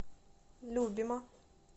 любима